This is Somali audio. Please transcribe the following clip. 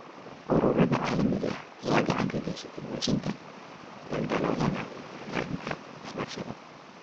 Ururada caalamiga ah ayaa gacan ka geysta buuxinta daldaloolada dhanka waxbarashada ee .